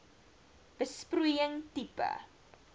besproeiing tipe